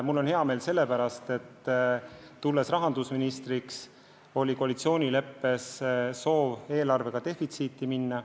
Mul on hea meel selle pärast, et kui ma rahandusministriks sain, siis oli koalitsioonileppes soov eelarvega defitsiiti minna.